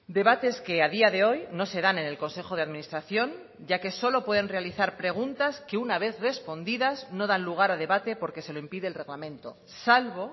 debates que a día de hoy no se dan en el consejo de administración ya que solo pueden realizar preguntas que una vez respondidas no dan lugar a debate porque se lo impide el reglamento salvo